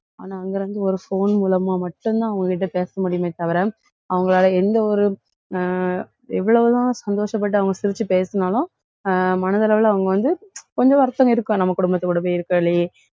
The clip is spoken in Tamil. ஆனா, அங்க இருந்து ஒரு phone மூலமா மட்டும்தான், அவங்க கிட்ட பேச முடியுமே தவிர, அவங்களால எந்த ஒரு ஆஹ் எவ்வளவு தான் சந்தோஷப்பட்டு அவங்க சிரிச்சு பேசினாலும் அஹ் மனதளவுல அவங்க வந்து கொஞ்சம் வருத்தம் இருக்கும் நம்ம குடும்பத்துக்கூட பொய் இறுகளையே